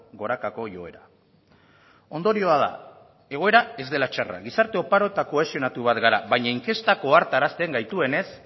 gorakako joera ondorioa da egoera ez dela txarra gizarte oparo eta kohesionatu bat gara baina inkestak ohartarazten gaituenez